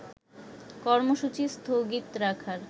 কর্মসূচী স্থগিত রাখার